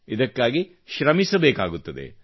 ಇದಕ್ಕಾಗಿ ಶ್ರಮಿಸಬೇಕಾಗುತ್ತದೆ